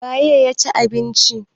.waye ya cin abinci?